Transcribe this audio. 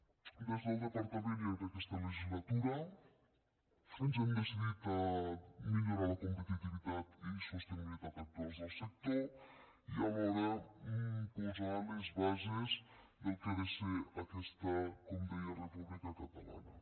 des del departament i en aquesta legislatura ens hem decidit a millorar la competitivitat i sostenibilitat actuals del sector i alhora posar les bases del que ha de ser aquesta com deia república catalana